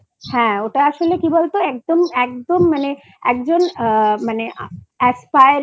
হ্যা ওটা আসলে কি বলতো একদম একদম মানে একজন